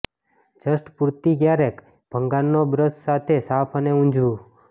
just પૂરતી ક્યારેક ભંગારનો બ્રશ સાથે સાફ અને ઊંજવું